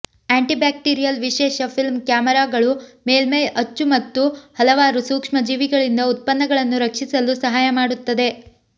antibacterial ವಿಶೇಷ film ಕ್ಯಾಮರಾಗಳು ಮೇಲ್ಮೈ ಅಚ್ಚು ಮತ್ತು ಹಲವಾರು ಸೂಕ್ಷ್ಮಜೀವಿಗಳಿಂದ ಉತ್ಪನ್ನಗಳನ್ನು ರಕ್ಷಿಸಲು ಸಹಾಯ ಮಾಡುತ್ತದೆ